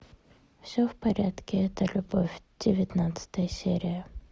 все в порядке это любовь девятнадцатая серия